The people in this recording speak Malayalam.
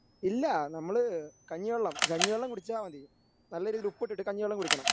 ഇല്ല നമ്മള് കഞ്ഞിവെള്ളം കഞ്ഞി വെള്ളം കുടിച്ചാൽ മതി. നല്ല രീതിയിൽ ഉപ്പിട്ടിട്ട് കഞ്ഞി വെള്ളം കുടിക്കണം.